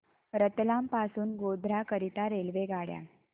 रतलाम पासून गोध्रा करीता रेल्वेगाड्या